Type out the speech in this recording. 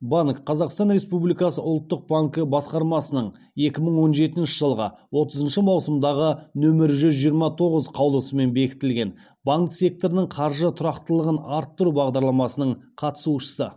банк қазақстан республикасы ұлттық банкі басқармасының екі мың он жетінші жылғы отызыншы маусымдағы нөмірі жүз жиырма тоғыз қаулысымен бекітілген банк секторының қаржы тұрақтылығын арттыру бағдарламасының қатысушысы